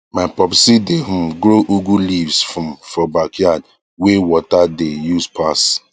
my popsi dae um grow ugu leaves um for backyard wae water dae use pass